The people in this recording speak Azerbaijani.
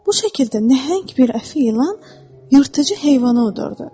Bu şəkildə nəhəng bir əfi ilan yırtıcı heyvanı udurdu.